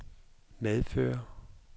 medføre